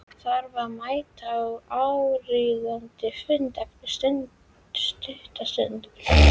Þarf að mæta á áríðandi fund eftir stutta stund.